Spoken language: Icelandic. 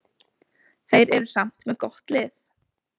Þeir eru samt með gott lið.